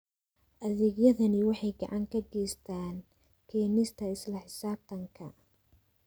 Adeegyadani waxay gacan ka geystaan ??keenista isla xisaabtanka.